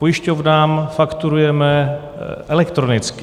Pojišťovnám fakturujeme elektronicky.